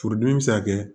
Furudimi bi se ka kɛ